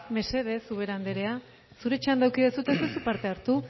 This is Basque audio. mesedez ubera andrea zure txanda eduki dezu eta ez duzu parte hartu